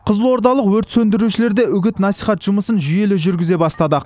қызылордалық өрт сөндірушілерде үгіт насихат жұмысын жүйелі жүргізе бастады